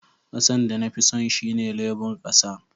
Kasan da na fi son shine lebur kasa.